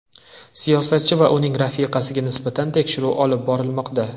Siyosatchi va uning rafiqasiga nisbatan tekshiruv olib borilmoqda.